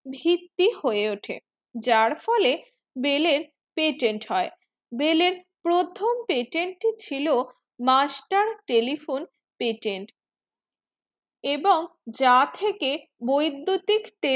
ভিত্তি হয়ে উঠে যার ফলে বেলের beler হয়ে বেলের প্রথম patent টি ছিল master telephone patent এবং যার থেকে বৈদুতিক